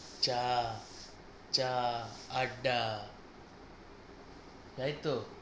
চা চা আড্ডা তাইতো,